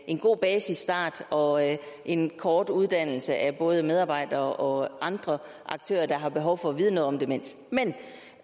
en god basisstart og en kort uddannelse af både medarbejdere og andre aktører der har behov for at vide noget om demens men